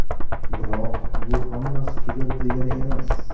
Biroq bu hammasi tugadi, degani emas.